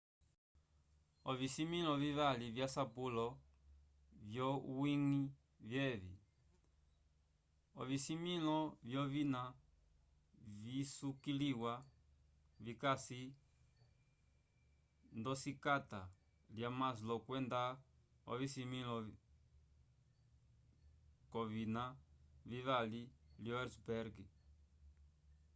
ovisimĩlo vivali vyasapulo vyowiñgi vyevi ocisimĩlo lyovina visukiliwa vikasi ndosikata lya maslow kwenda ocisimĩlo c'ovina vivali lyo hertzberg